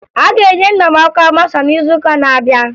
A ga-enye nna m ọkwa masha n'izuụka na-abịa